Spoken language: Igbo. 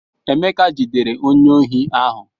Emeka jidere onye ohi ahụ.